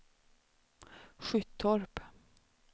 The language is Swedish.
Skyttorp